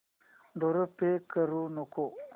द्वारे पे करू नको